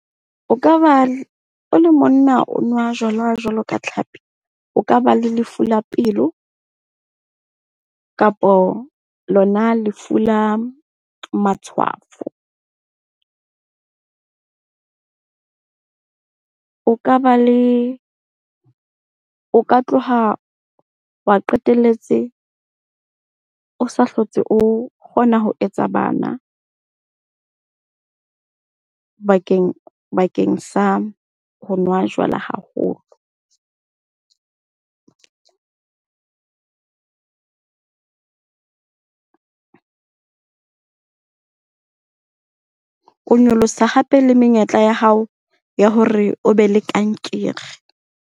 O ka ba o le monna o nwa jwala jwalo ka thlapi, o ka ba le lefu la pelo kapo lona lefu la matshwafo. O ka ba le, o ka tloha wa qetelletse o sa hlotse o kgona ho etsa bana bakeng sa ho nwa jwala haholo. O nyolosa hape le menyetla ya hao ya hore o be le kankere.